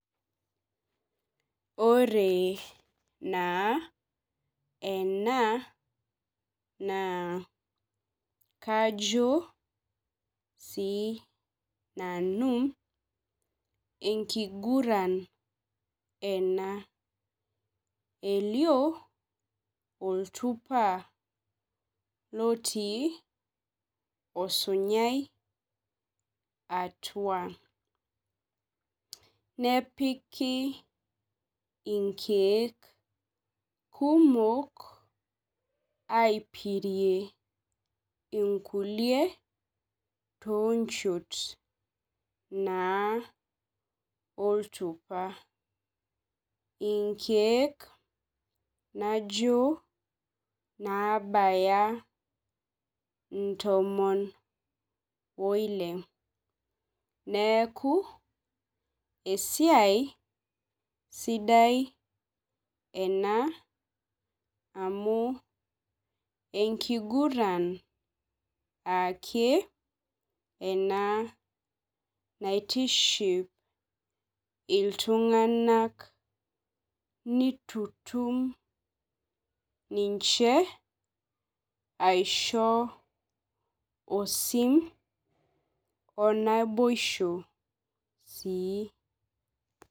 Ore naa enaa naa kajo sii nanu enkiguran enaa. Elio oltupa otii osumyai atua. Nepiki inkeek kumok aipirie inkulie too nchot oltupa. Inkeek najo naabaya intomon oile. Neeku esiai sidai ena amu enkigurn ake ena naitiship iltungak nitutum ninche aisho osim onaboisho sii.